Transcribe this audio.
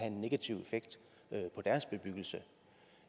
en negativ effekt på deres bebyggelse